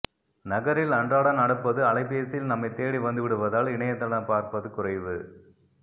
நகரில் அன்றாடம் நடப்பது அலைபேசியில் நம்மைத்தேடி வந்துவிடுவதால் இணையத்தளம் பார்ப்பது குறைவு